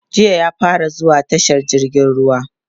jiya ya fara zuwa tashar jirgin ruwa